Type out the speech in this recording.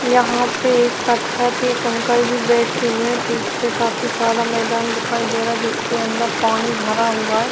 यहाँ पे पत्थर पर एक अंकल जी बैठे हुए हैं पीछे काफी सारा मैदान दिखाई दे रहा है जिसके अंदर पानी भरा हुआ है।